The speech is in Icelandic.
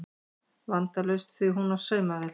Vandalaust því hún á saumavél